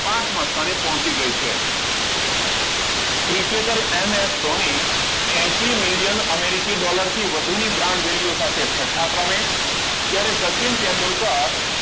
પાંચમા સ્થાને પોચી ગઇ છે ક્રિકેટર એમ. એસ ધોની એંસી million Americi dollar થી વધુ ની brand value સાથે છઠા ક્રમે જયારે સચિન તેંડુલકર